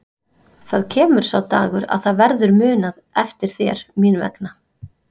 Það kemur sá dagur að það verður munað eftir þér mín vegna.